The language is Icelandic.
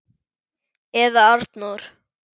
Eða Arnór!